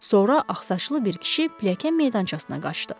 Sonra ağsaçlı bir kişi pilləkən meydançasına qaçdı.